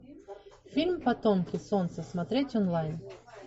фильм потомки солнца смотреть онлайн